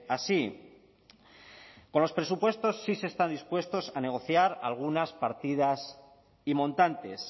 así con los presupuestos sí se está dispuestos a negociar algunas partidas y montantes